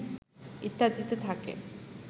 ইত্যাদিতে থাকে